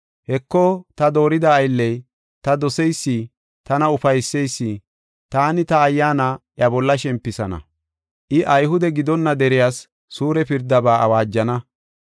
“Heko ta doorida aylley, ta doseysi, tana ufayseysi, taani ta ayyaana, iya bolla shempisana; I, Ayhude gidonna deriyas suure pirdaba awaajana.